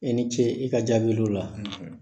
I ni ce i ka jaabiliw la!